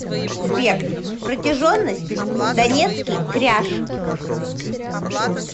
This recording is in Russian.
сбер протяженность донецкий кряж